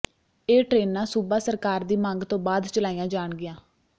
ਇਹ ਟ੍ਰੇਨਾਂ ਸੂਬਾ ਸਰਕਾਰ ਦੀ ਮੰਗ ਤੋਂ ਬਾਅਦ ਚਲਾਈਆਂ ਜਾਣਗੀਆਂ